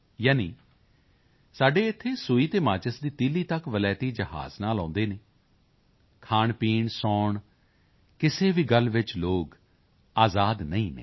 ਯਾਨੀ ਸਾਡੇ ਇੱਥੇ ਸੂਈ ਅਤੇ ਮਾਚਿਸ ਦੀ ਤੀਲੀ ਤੱਕ ਵਲੈਤੀ ਜਹਾਜ਼ ਨਾਲ ਆਉਦੇ ਹਨ ਖਾਣਪੀਣ ਸੌਣ ਕਿਸੇ ਵੀ ਗੱਲ ਵਿੱਚ ਲੋਕ ਆਜ਼ਾਦ ਨਹੀਂ ਹਨ